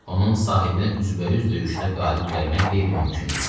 Onun sahibinə üzbəüz döyüşdə qalib gəlmək qeyri-mümkün idi.